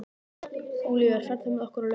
Ólíver, ferð þú með okkur á laugardaginn?